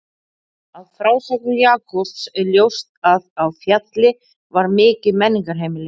Af frásögnum Jakobs er ljóst að á Fjalli var mikið menningarheimili.